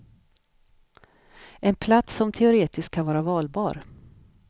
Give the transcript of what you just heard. En plats som teoretiskt kan vara valbar.